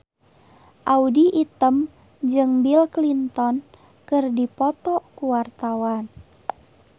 Audy Item jeung Bill Clinton keur dipoto ku wartawan